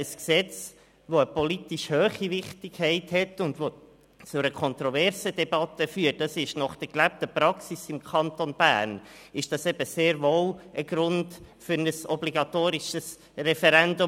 Ein Gesetz, das eine politisch hohe Wichtigkeit hat und das zu einer kontroversen Debatte führt, ist nach der gelebten Praxis im Kanton Bern eben sehr wohl ein Grund für ein obligatorisches Referendum.